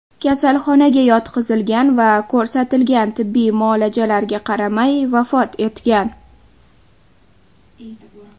kasalxonaga yotqizilgan va ko‘rsatilgan tibbiy muolajalarga qaramay vafot etgan.